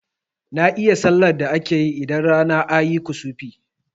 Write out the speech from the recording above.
Na iya sallar da akeyi idan rana ayi kusufi